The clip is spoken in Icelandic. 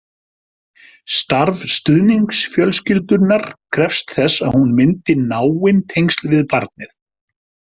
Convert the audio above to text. Starf stuðningsfjölskyldunnar krefst þess að hún myndi náin tengsl við barnið.